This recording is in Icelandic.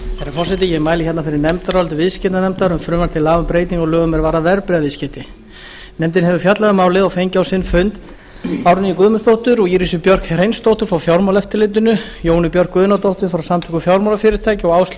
forseti ég mæli hérna fyrir nefndaráliti viðskiptanefndar um frumvarp til laga um breytingu á lögum er varða verðbréfaviðskipti nefndin hefur fjallað um málið og fengið á sinn fund árnýju guðmundsdóttur og írisi björk hreinsdóttur frá fjármálaeftirlitinu jónu björk guðnadóttur frá samtökum fjármálafyrirtækja og áslaugu